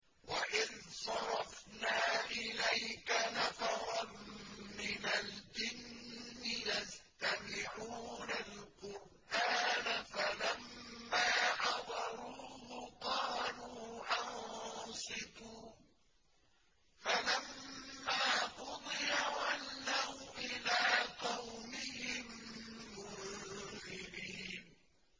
وَإِذْ صَرَفْنَا إِلَيْكَ نَفَرًا مِّنَ الْجِنِّ يَسْتَمِعُونَ الْقُرْآنَ فَلَمَّا حَضَرُوهُ قَالُوا أَنصِتُوا ۖ فَلَمَّا قُضِيَ وَلَّوْا إِلَىٰ قَوْمِهِم مُّنذِرِينَ